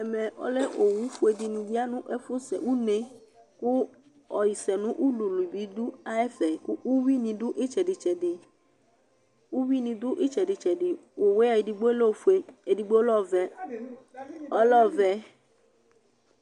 owu fue dɩ nɩ lɛ nʊ une nɛmɛ, kʊ avawu dɩbɩ lɛ nʊ ɛfɛ, kʊ uwi nɩ dʊ itseditsedi, owu yɛ ɛdi lɛ ofue, ɛdɩbɩ lɛ ɔvɛ